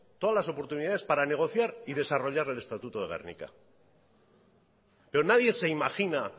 todas las oportunidades para negociar y desarrollar el estatuto de gernika pero nadie se imagina